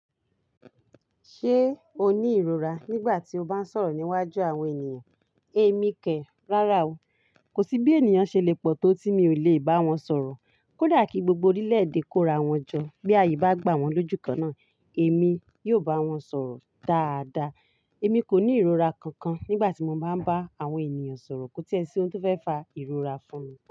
Ṣé o ní ìrora nígbà tí o bá ń sọ̀rọ̀ níwájú àwọn ènìyàn? Èmi kẹ rárá o. Kò sí bí ènìyàn ṣe lè pọ̀ tó tí mi ò lè bá wọn sọ̀rọ̀. Kódà kí gbogbo orílẹ̀-èdè kó ra wọn jọ, bí ààyè bá gbà wọ́n lójúkan náà, èmi yóò bá wọn sọ̀rọ̀ dáadáa. Èmi kò ní ìrora kankan nígbà tí mo bá ń bá àwọn ènìyàn sọ̀rọ̀ kó tí ẹ sí ohun tó fẹ́ fa ìrora fún mi.